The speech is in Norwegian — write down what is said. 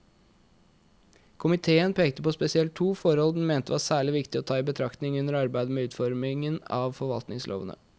Komiteen pekte på spesielt to forhold den mente var særlig viktig å ta i betraktning under arbeidet med utformingen av forvaltningslovene.